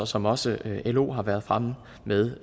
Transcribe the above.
som også lo tidligere har været fremme med